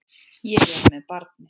Ég er með barni.